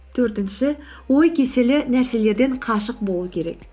төртінші ой кеселі нәрселерден қашық болу керек